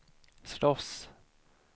slåss